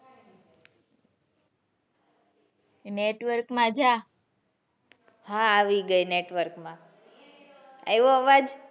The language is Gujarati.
Network માં જા હા આવી ગયી network માં આયવો અવાજ?